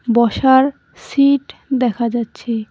বসার সিট দেখা যাচ্ছে।